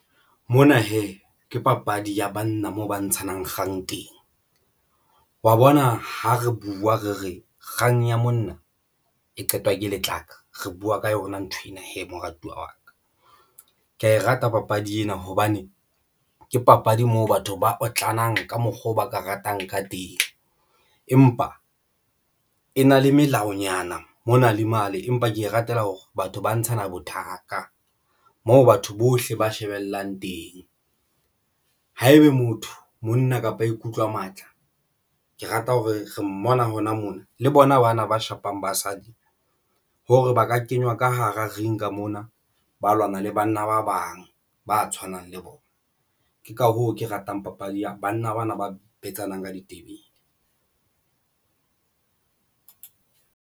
Mona hee ke papadi ya banna moo ba ntshang kgang teng wa bona ha re buwa, re re kgang ya monna e qetwa ke lehlaka, re buwa ka yona nthwena he moratuwa wa ka. Ke ya e rata papadi ena hobane ke papadi moo batho ba otlanang ka mokgwa oo ba ka ratang ka teng, empa e na le melaonyana mona le male empa ke e ratela hore batho ba ntshana bothakga moo batho bohle ba shebellang teng. Haebe motho monna kapa ikutlwa matla, ke rata ho re re mmona hona mona le bona bana ba shapang basadi ho re ba ka kenywa ka hara ringa mona ba lwana le banna ba bang ba tshwanang le bona. Ke ka hoo ke ratang papadi ya banna bana ba betsana ka ditebele.